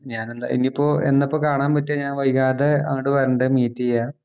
ഞാനെന്താ ഇനീപ്പോ എന്നാപ്പോ കാണാൻ പറ്റുക ഞാൻ വൈകാതെ അങ്ങോട്ട് വരുണ്ട്‌ meet ചെയ്യാൻ